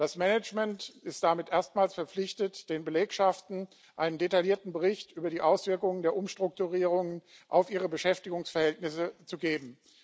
Das Management ist damit erstmals verpflichtet, den Belegschaften einen detaillierten Bericht über die Auswirkungen der Umstrukturierungen auf ihre Beschäftigungsverhältnisse zu geben.